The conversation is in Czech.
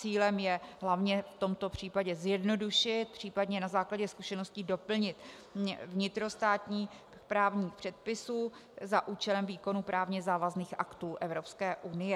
Cílem je hlavně v tomto případě zjednodušit, případně na základě zkušeností doplnit vnitrostátní právní předpisy za účelem výkonu právně závazných aktů Evropské unie.